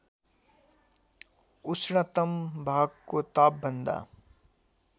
ऊष्णतम भागको तापभन्दा